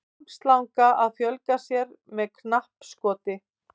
armslanga að fjölga sér með knappskoti